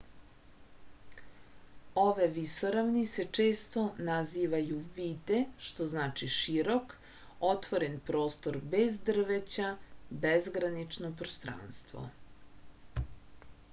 ove visoravni se često nazivaju vide što znači širok otvoren prostor bez drveća bezgranično prostranstvo